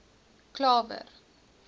klawer